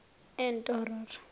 entororo